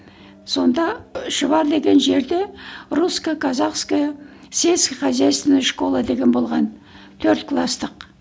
сонда шұбар деген жерде русско казахская сельско хозяйственная школа деген болған төрт кластық